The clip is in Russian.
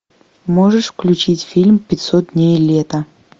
можешь включить фильм пятьсот дней лета